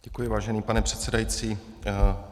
Děkuji, vážený pane předsedající.